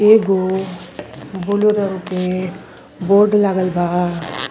एगो ब्लू रंग के बोर्ड लागल बा।